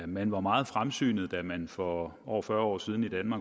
man var meget fremsynet da man for over fyrre år siden